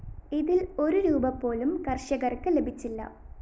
ഇതില്‍ ഒരു രൂപീ പോലും കര്‍ഷകര്‍ക്ക് ലഭിച്ചില്ല